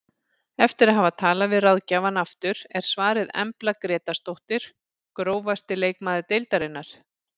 Eftir að hafa talað við ráðgjafann aftur er svarið Embla Grétarsdóttir Grófasti leikmaður deildarinnar?